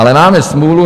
Ale máme smůlu.